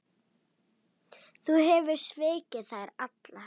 Þú hefur svikið þær allar.